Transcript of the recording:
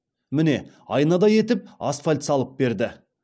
міне айнадай етіп асфальт салып берді